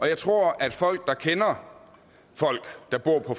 jeg tror at folk der kender folk der bor på